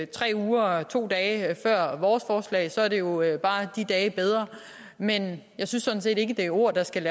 tre uger og to dage før vores forslag så er det jo bare de dage bedre men jeg synes sådan set ikke det er ord der skal